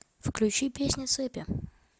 включи песню цепи